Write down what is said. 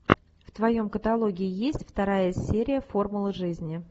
в твоем каталоге есть вторая серия формула жизни